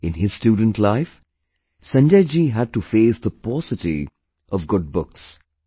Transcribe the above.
In his student life, Sanjay ji had to face the paucity of good books